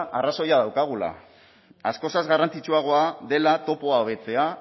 arrazoia daukagula askoz ere garrantzitsuagoa dela topoa hobetzea